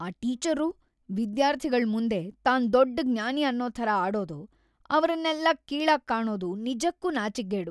ಆ ಟೀಚರ್ರು ವಿದ್ಯಾರ್ಥಿಗಳ್‌ ಮುಂದೆ ತಾನ್‌ ದೊಡ್ಡ್‌ ಜ್ಞಾನಿ ಅನ್ನೋ ಥರ ಆಡೋದು, ಅವ್ರನ್ನೆಲ್ಲ ಕೀಳಾಗ್ ಕಾಣೋದು ನಿಜಕ್ಕೂ ನಾಚಿಕ್ಗೇಡು.